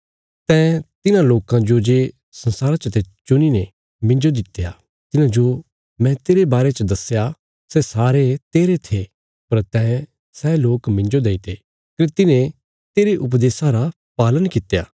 तैं तिन्हां लोकां जो जे संसारा चते चुणीने मिन्जो दित्या तिन्हांजो मैं तेरे बारे च दस्या सै सारे तेरे थे पर तैं सै लोक मिन्जो देईते कने तिन्हें तेरे उपदेशा रा पालन कित्या